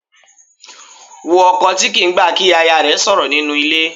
Wo ọkọ tí kì í gbà kí aya rẹ̀ sọ̀rọ̀ nínú ilé.